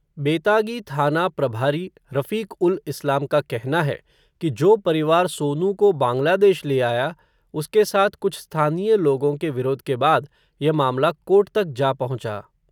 बेतागी थाना प्रभारी रफ़ीक़-उल-इस्लाम का कहना है, कि जो परिवार सोनू को बांग्लादेश ले आया, उसके साथ कुछ स्थानीय लोगों के विरोध के बाद, यह मामला कोर्ट तक जा पहुँचा.